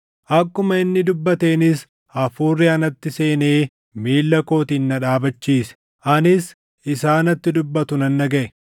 Akkuma inni dubbateenis Hafuurri anatti seenee miilla kootiin na dhaabachiise; anis isaa natti dubbatu nan dhagaʼe.